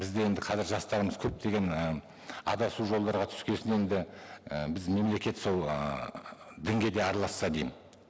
бізде енді қазір жастарымыз көптеген і адасу жолдарға түскен соң енді і біз мемлекет сол ыыы дінге де араласса деймін